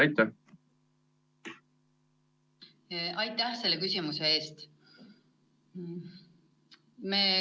Aitäh selle küsimuse eest!